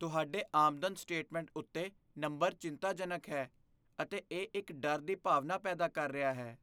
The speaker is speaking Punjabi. ਤੁਹਾਡੇ ਆਮਦਨ ਸਟੇਟਮੈਂਟ ਉੱਤੇ ਨੰਬਰ ਚਿੰਤਾਜਨਕ ਹੈ, ਅਤੇ ਇਹ ਇੱਕ ਡਰ ਦੀ ਭਾਵਨਾ ਪੈਦਾ ਕਰ ਰਿਹਾ ਹੈ।